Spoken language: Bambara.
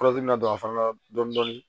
dɔ fana na dɔɔnin dɔɔnin